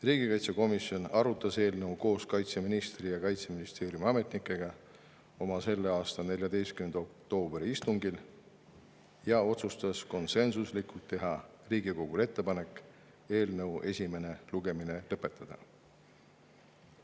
Riigikaitsekomisjon arutas eelnõu koos kaitseministri ja teiste Kaitseministeeriumi ametnikega selle aasta 14. oktoobri istungil ja otsustas konsensuslikult teha Riigikogule ettepaneku eelnõu esimene lugemine lõpetada.